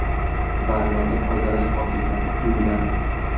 Vannaga tozalash vositasi quyiladi.